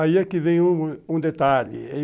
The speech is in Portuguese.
Aí é que vem um detalhe.